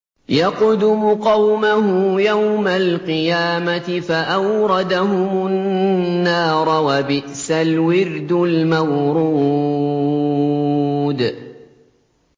يَقْدُمُ قَوْمَهُ يَوْمَ الْقِيَامَةِ فَأَوْرَدَهُمُ النَّارَ ۖ وَبِئْسَ الْوِرْدُ الْمَوْرُودُ